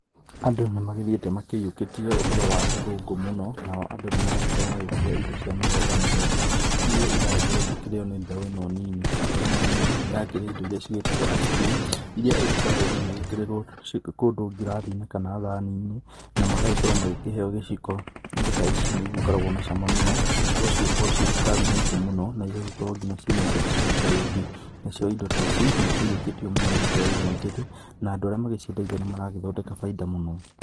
Andũ nĩ magĩthiĩte makĩiyũkĩtie ũhoro wa ũthũngũ mũno nao andũ nĩ maragĩkorwo magĩkĩrĩa indo cia mĩthemba mĩthemba iria iragĩkorwo igĩkĩrĩo nĩ mbeũ ino nini. Mbeũ ino nini nĩ irakĩrĩa indo iria cigĩtagwo Ice cream, iria igĩkoragwo ĩgĩgĩkĩrĩrwo kũndũ ngirathi-inĩ kana thani-inĩ na magagĩkorwo magĩkĩheo gĩciko. Indo ta ici nĩ igĩkoragwo na cama mũno kũguo cigakorwo ciĩ cukari mũingĩ mũno, na igagĩkorwo nginya ciĩna indo ta cokoreti. Nacio indo ta ici nĩ ikĩiyũkĩtio mũno nĩ mbeũ ĩno njĩthĩ na andũ arĩa magĩciendagia nĩ maragĩthondeka bainda mũno.